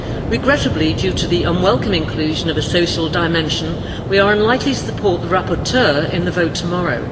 Regrettably, due to the unwelcome inclusion of a social dimension we are unlikely to support the rapporteur in the vote tomorrow.